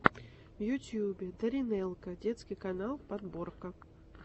в ютюбе даринелка детский канал подборка